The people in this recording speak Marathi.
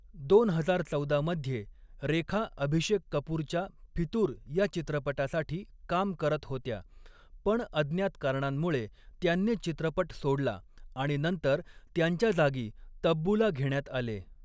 दोन हजार चौदा मध्ये रेखा अभिषेक कपूरच्या 'फितूर' या चित्रपटासाठी काम करत होत्या, पण अज्ञात कारणांमुळे त्यांनी चित्रपट सोडला आणि नंतर त्यांच्या जागी तब्बूला घेण्यात आले.